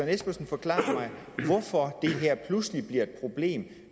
espersen forklare mig hvorfor det her pludselig bliver et problem